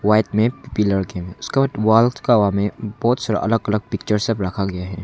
White में pillar बहोत सारा अलग अलग पिक्चर सब रखा गया है।